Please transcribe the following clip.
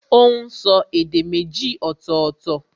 Ó n so èdè méjì ọ̀tọ̀ọ̀tọ̀